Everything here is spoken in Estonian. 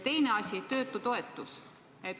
Teine asi on töötutoetus.